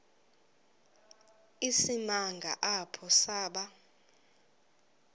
isimanga apho saba